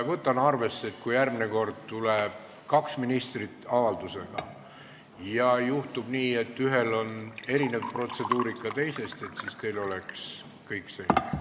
Võtan arvesse, et kui järgmine kord tuleb kaks ministrit avaldusega ja juhtub nii, et ühe esinemise protseduurika erineb teise omast, siis vaatan, et teil oleks kõik selge.